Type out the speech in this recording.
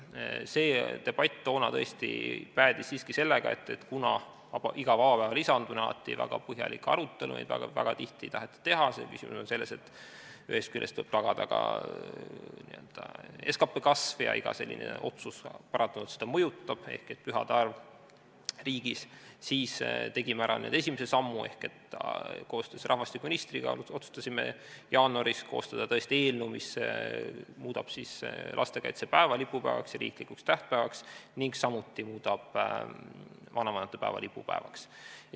See debatt toona päädis siiski sellega, et kuna iga vaba päeva lisamine tekitab alati väga põhjaliku arutelu, seda väga tihti ei taheta teha , siis tegime ära esimese sammu ehk koostöös rahvastikuministriga otsustasime jaanuaris koostada eelnõu, mis muudab lastekaitsepäeva lipupäevaks ja riiklikuks tähtpäevaks ning samuti muudab vanavanemate päeva lipupäevaks.